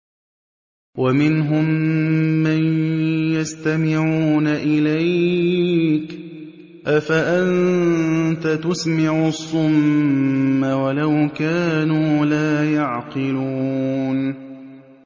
وَمِنْهُم مَّن يَسْتَمِعُونَ إِلَيْكَ ۚ أَفَأَنتَ تُسْمِعُ الصُّمَّ وَلَوْ كَانُوا لَا يَعْقِلُونَ